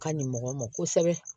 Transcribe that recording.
Ka ɲi mɔgɔ ma kosɛbɛ